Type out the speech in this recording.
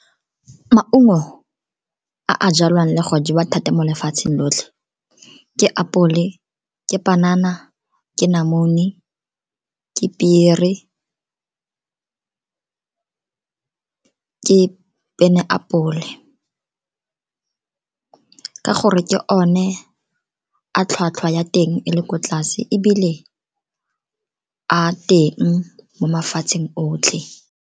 Maungo a a jalwang le go jewa thata mo lefatsheng lotlhe, ke apole, ke panana, ke namune, ke pere, ke peineapole, ka gore ke one a tlhwatlhwa ya teng e le ko tlase ebile a teng mo mafatsheng otlhe.